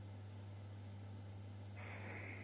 Hann fékk að vísu